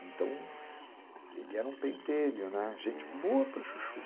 Então, ele era um pentelho, né, gente boa para chuchu.